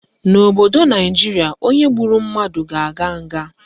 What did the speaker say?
N'obodo Naijiria, onye gburu mmadụ ga-aga nga